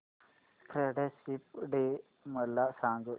friendship day मला सांग